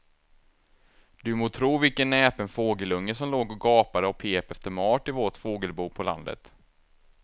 Du må tro vilken näpen fågelunge som låg och gapade och pep efter mat i vårt fågelbo på landet.